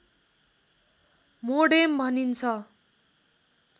modem भनिन्छ